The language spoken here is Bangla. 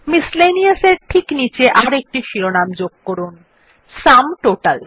মিসেলেনিয়াস এর ঠিক নীচে আর একটি শিরোনাম যোগ করুন সুম টোটাল